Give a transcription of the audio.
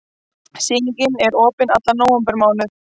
Sýningin er opin allan nóvembermánuð.